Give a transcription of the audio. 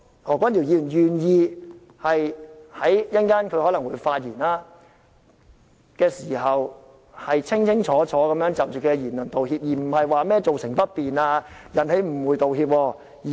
何君堯議員稍後可能會發言，希望他願意清清楚楚就其言論道歉而不是說甚麼造成不便、引起誤會。